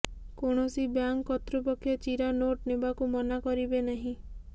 କୌଣସି ବ୍ୟାଙ୍କ କର୍ତ୍ତୃପକ୍ଷ ଚିରା ନୋଟ ନେବାକୁ ମନା କରିବେ ନାହିଁ